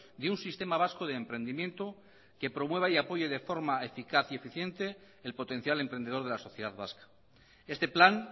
de un sistema vasco de emprendimiento que promueva y apoye de forma eficaz y eficiente el potencial emprendedor de la sociedad vasca este plan